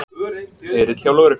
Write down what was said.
Erill hjá lögreglu